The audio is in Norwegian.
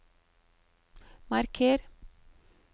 marker